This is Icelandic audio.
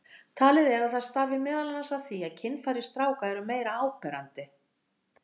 Talið er að það stafi meðal annars af því að kynfæri stráka eru meira áberandi.